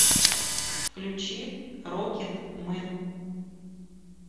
включи рокет мэн